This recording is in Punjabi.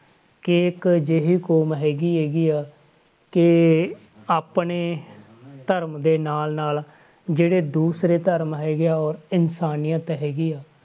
ਕਿ ਇੱਕ ਅਜਿਹੀ ਕੌਮ ਹੈਗੀ ਹੈਗੀ ਆ ਕਿ ਆਪਣੇ ਧਰਮ ਦੇ ਨਾਲ ਨਾਲ ਜਿਹੜੇ ਦੂਸਰੇ ਧਰਮ ਹੈਗੇ ਆ, ਇਨਸਾਨੀਅਤ ਹੈਗੀ ਆ,